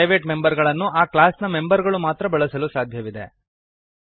private member ಗಳನ್ನು ಆ ಕ್ಲಾಸ್ನ ಮೆಂಬರ್ ಗಳು ಮಾತ್ರ ಬಳಸಲು ಸಾಧ್ಯವಿದೆ